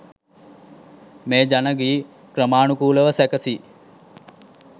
මේ ජන ගී ක්‍රමානුකූලව සැකසී